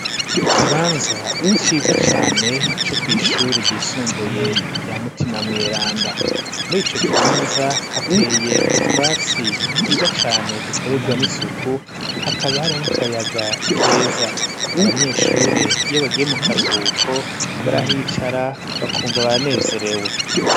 Ikibanza ciza cane co kw'ishure ryisumbuye rya mutima mweranda muri ico kibanza hateye utwatsi twiza cane dukorerwa n'isuku hakaba hari n'akayaga keza abanyeshure iyo bagiye mu karuhuko barahicara bakumva baranezerewe we.